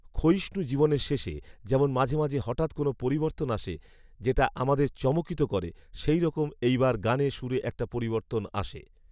ক্ষয়িষ্ঞু জীবনের শেষে যেমন মাঝে মাঝে হঠাৎ কোন পরিবর্তন আসে, যেটা আমাদের চমকিত করে, সেইরকমই এইবার গানে, সুরে একটা পরিবর্তন আসে